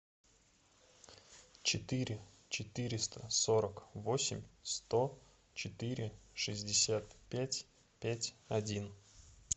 четыре четыреста сорок восемь сто четыре шестьдесят пять пять один